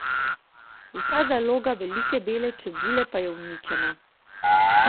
Vsa zaloga velike bele čebule pa je uničena.